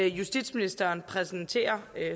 justitsministeren præsenterer